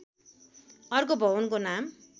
अर्को भवनको नाम